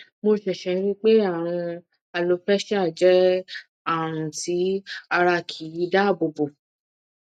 mo ṣẹṣẹ rí i pé àrùn alopecia jẹ àrùn tí ara kì í dáàbò bò